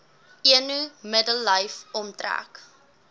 eno middellyf omtrek